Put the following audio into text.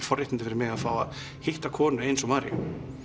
forréttindi fyrir mig að fá að hitta konu eins og Maríu